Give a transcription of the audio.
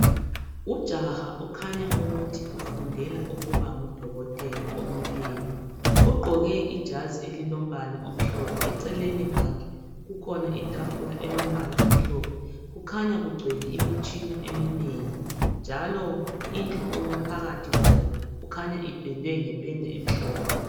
Ujaha ukhanya ukuthi ufundela ukuba ngudokotela omileyo, ugqoke ijazi elilombala omhlophe eceleni kwakhe kukhona itafula elombala omhlophe kukhanya kugcwele imitshina eminengi njalo indlu ophakathi kwayo kukhanya ipendwe ngependa emhlophe.